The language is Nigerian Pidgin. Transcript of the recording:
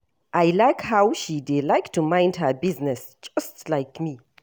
I like how she dey like to mind her business just like me